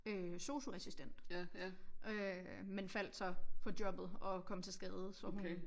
Øh sosuassistent øh men faldt så på jobbet og kom til skade så hun